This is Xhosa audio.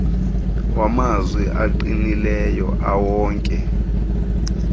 wamanzi aqinileyo ewonke